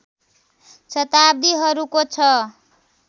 शताब्दीहरूको छ